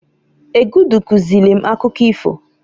Egudu kuzili m akụkọ ifo.